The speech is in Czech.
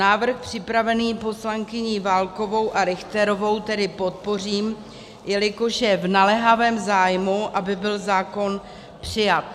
Návrh připravený poslankyní Válkovou a Richterovou tedy podpořím, jelikož je v naléhavém zájmu, aby byl zákon přijat.